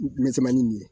N misɛmanin nun ye